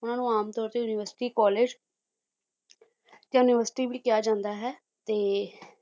ਉਹਨਾਂ ਨੂੰ ਆਮ ਤੌਰ ਤੇ university college university ਵੀ ਕਿਹਾ ਜਾਂਦਾ ਹੈ ਤੇ